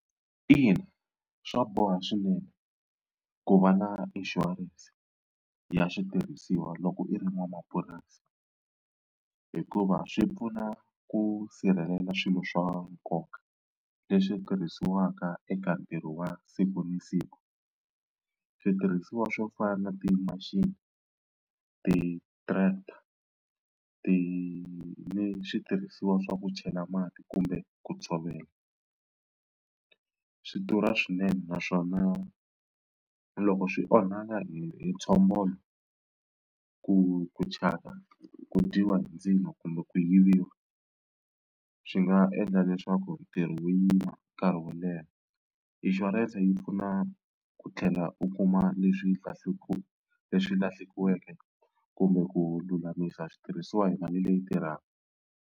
Ina, swa boha swinene ku va na inshurense ya switirhisiwa loko i ri n'wamapurasi hikuva swi pfuna ku sirhelela swilo swa nkoka leswi tirhisiwaka eka ntirho wa siku na siku. Switirhisiwa swo fana na ti-machine, ti-tractor ti ni switirhisiwa swa ku chela mati kumbe ku tshovela swi durha swinene naswona loko swi onhaka hi hi ntshombolo ku ku thyaka, ku dyiwa hi ndzilo kumbe ku yiviwa swi nga endla leswaku ntirho wu yima nkarhi wo leha. Inshurense yi pfuna ku tlhela u kuma leswi leswi lahlekiweke kumbe ku lulamisa switirhisiwa hi mali leyi tirhaka.